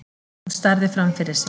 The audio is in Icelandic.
Hún starði framfyrir sig.